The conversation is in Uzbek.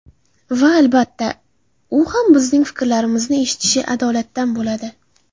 Va, albatta, u ham bizning fikrlarimizni eshitishi adolatdan bo‘ladi.